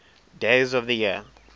days of the year